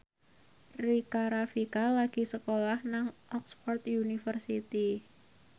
Rika Rafika lagi sekolah nang Oxford university